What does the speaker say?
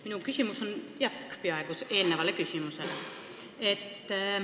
Minu küsimus on peaaegu eelmise küsimuse jätk.